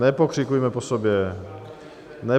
Nepokřikujme po sobě!